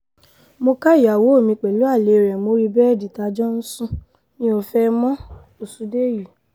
mo ka ìyàwó mi pẹ̀lú alẹ́ rẹ̀ mórí bẹ́ẹ̀dì tá a jọ ń sún mi ò fẹ́ ẹ mọ́-òsùndèyí